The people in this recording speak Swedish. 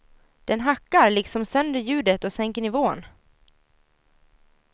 Den hackar liksom sönder ljudet och sänker nivån.